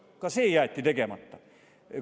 Aga ka see jäeti tegemata.